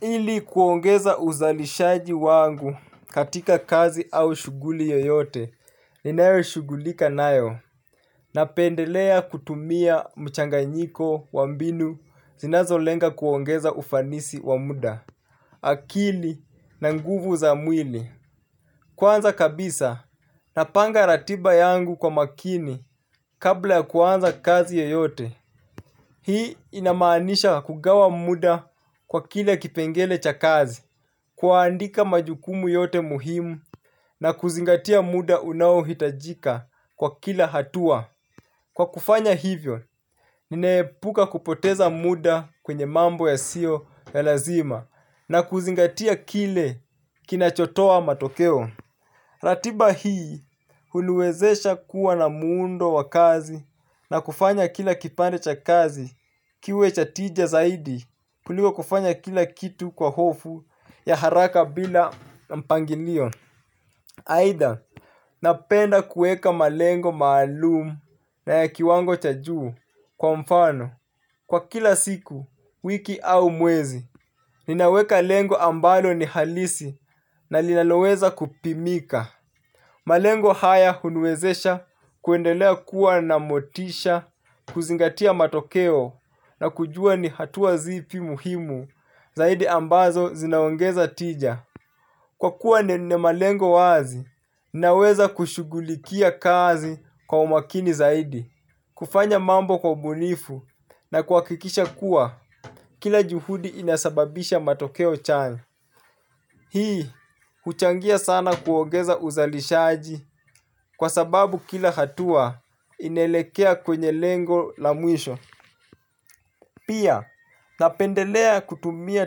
Ili kuongeza uzalishaji wangu katika kazi au shuguli yoyote, ninayo shugulika nayo. Napendelea kutumia mchangainiko wa mbinu zinazo lenga kuongeza ufanisi wa muda. Akili na nguvu za mwili. Kwanza kabisa, napanga ratiba yangu kwa makini kabla kuanza kazi yoyote. Hii inamaanisha kugawa muda kwa kile kipengele cha kazi. Kuandika majukumu yote muhimu na kuzingatia muda unao hitajika kwa kila hatua. Kwa kufanya hivyo, ninaepuka kupoteza muda kwenye mambo yasio ya lazima na kuzingatia kile kinachotoa matokeo. Ratiba hii huniwezesha kuwa na muundo wa kazi na kufanya kila kipande cha kazi kiwe cha tija zaidi kuliko kufanya kila kitu kwa hofu ya haraka bila mpangilio. Aidha napenda kuweka malengo maalumu na ya kiwango cha juu kwa mfano kwa kila siku, wiki au mwezi, ninaweka lengo ambalo ni halisi na linaloweza kupimika. Malengo haya uniwezesha kuendelea kuwa na motisha, kuzingatia matokeo na kujua ni hatua zipi muhimu zaidi ambazo zinaongeza tija kwa kuwa nina malengo wazi naweza kushugulikia kazi kwa umakini zaidi. Kufanya mambo kwa ubunifu na kuwakikisha kuwa kila juhudi inasababisha matokeo chanya. Hii, huchangia sana kuongeza uzalishaji kwa sababu kila hatua inaelekea kwenye lengo la mwisho. Pia, napendelea kutumia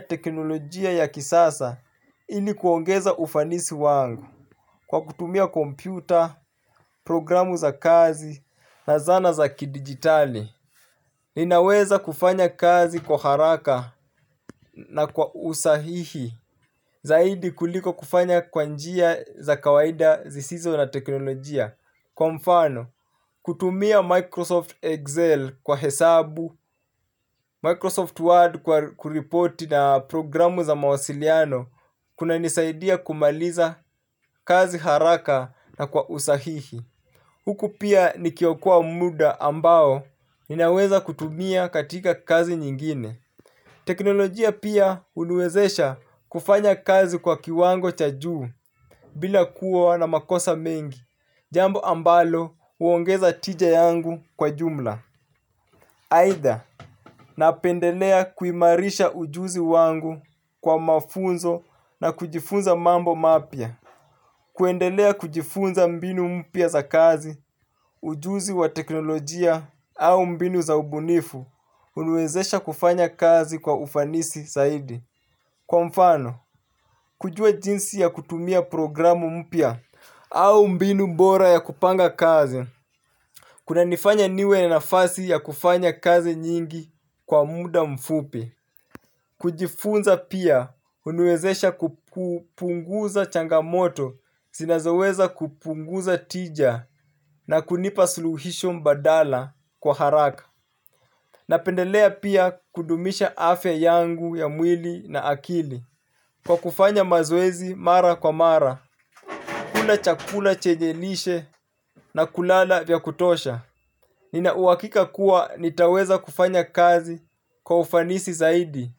teknolojia ya kisasa ili kuongeza ufanisi wangu kwa kutumia kompyuta, programu za kazi na zana za kidigitali. Ninaweza kufanya kazi kwa haraka na kwa usahihi zaidi kuliko kufanya kwa njia za kawaida zisizo na teknolojia. Kwa mfano, kutumia Microsoft Excel kwa hesabu Microsoft Word kwa kuripoti na programu za mawasiliano. Kunanisaidia kumaliza kazi haraka na kwa usahihi huku pia nikiokoa muda ambao ninaweza kutumia katika kazi nyingine. Teknolojia pia uniwezesha kufanya kazi kwa kiwango cha juu bila kuwa na makosa mengi jambo ambalo huongeza tija yangu kwa jumla. Aidha napendelea kuimarisha ujuzi wangu kwa mafunzo na kujifunza mambo mapia. Kuendelea kujifunza mbinu mpya za kazi, ujuzi wa teknolojia au mbinu za ubunifu, uniwezesha kufanya kazi kwa ufanisi saidi. Kwa mfano, kujua jinsi ya kutumia programu mpya au mbinu bora ya kupanga kazi, kunanifanya niwe na nafasi ya kufanya kazi nyingi kwa muda mfupi. Kujifunza pia uniwezesha kupunguza changamoto zinazoweza kupunguza tija na kunipa suluhisho mbadala kwa haraka. Napendelea pia kudumisha afya yangu ya mwili na akili kwa kufanya mazoezi mara kwa mara kula chakula chenye lishe na kulala vya kutosha. Nina uwakika kuwa nitaweza kufanya kazi kwa ufanisi zaidi.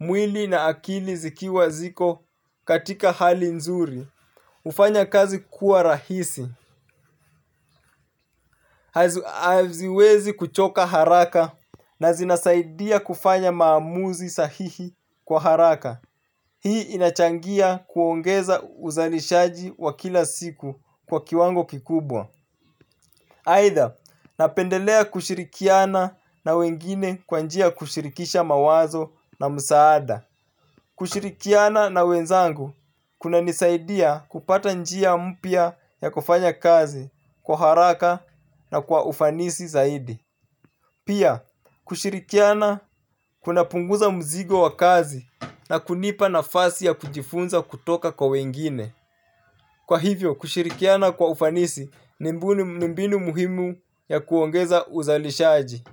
Mwili na akili zikiwa ziko katika hali nzuri ufanya kazi kuwa rahisi. Haziwezi kuchoka haraka na zinasaidia kufanya maamuzi sahihi kwa haraka. Hii inachangia kuongeza uzalishaji wa kila siku kwa kiwango kikubwa. Aidha, napendelea kushirikiana na wengine kwa njia kushirikisha mawazo na msaada. Kushirikiana na wenzangu kunanisaidia kupata njia mpya ya kufanya kazi kwa haraka na kwa ufanisi zaidi. Pia kushirikiana kunapunguza mzigo wa kazi na kunipa nafasi ya kujifunza kutoka kwa wengine. Kwa hivyo kushirikiana kwa ufanisi ni mbinu muhimu ya kuongeza uzalishaji.